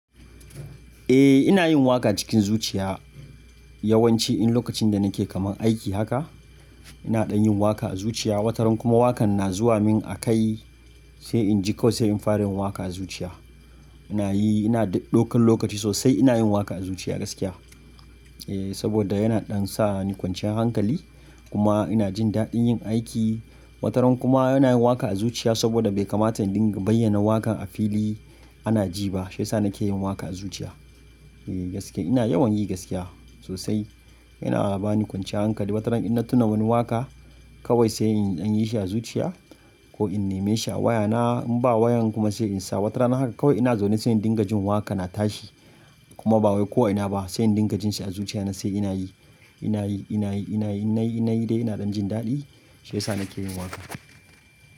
Eh ina yin waƙa cikin zuciya yawanci in lokacin da nake kaman aiki haka ina ɗan yin waƙa a zuciya wataran kuma waƙan na zuwa min a kai sai in ji kawai sai in fara yin waƙa a zuciya. Ina yi ina ɗaukan lokaci sosai ina yin waƙa a zuciya gaskiya. Eh saboda yana ɗan sa ni kwanciyar hankali kuma ina jin daɗin yin aiki. Wataran kuma ina yin waƙa a zuciya saboda bai kamata in dinga bayyana waƙan a fili ana ji ba shiyasa nake yin waƙa a zuciya. Eh gaskiya ina yawan yi gaskiya sosai yana bani kwanciyar hankali wataran in na tuna wani waƙa kawai sai in dan yi shi a zuciya ko in neme shi a waya na in ba wayan kuma sai in sa wata rana haka kawai ina zaune sai in dinga jin waƙa na tashi kuma ba wai ko a ina ba sai in dinga jin shi a zuciya na sai ina yi ina yi ina yi ina yi innayi innayi dai ina ɗan jin daɗi shiyasa nake yin waƙa.